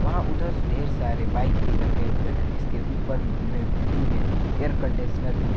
वहां उधर ढेर सारे बाइक भी रखे हुए हैं इसके ऊपर बि-बिल्डिंग में एयर कंडीशनर भी है।